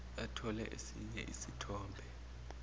bathole esinye isithombe